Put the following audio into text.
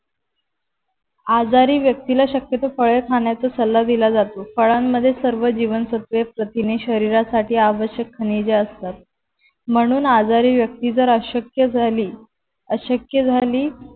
आजारी व्यक्ती ला शक्यतो फळे खाण्याचा सल्ला दिला जातो. फळाणमध्ये सर्व जीवनसत्व प्रथिणे शरीर साथी आवश्यक खनिजे असतात. म्हणून आजारी व्यक्ति जर अशक्य झाली अशक्य झाली